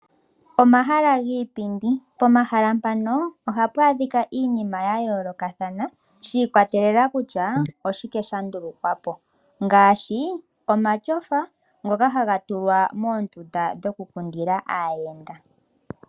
Omahala giipindi, pomahala mpano ohapu adhika iinima yayoolokathana shiikwatelela kutya oshike sha ndulukwa po, ngaashi omatyofa ngoka haga tulwa moondundu dhoku ku ndila aayenda.